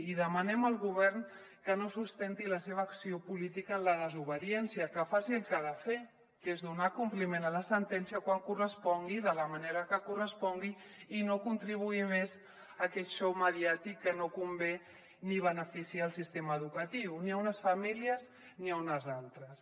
i demanem al govern que no sustenti la seva acció política en la desobediència que faci el que ha de fer que és donar compliment a la sentència quan correspongui de la manera que correspongui i no contribuir més a aquest xou mediàtic que no convé ni beneficia el sistema educatiu ni a unes famílies ni a unes altres